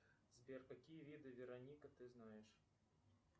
сбер какие виды вероника ты знаешь